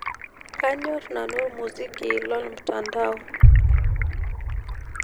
kanyor nanu ormuziki lomtandao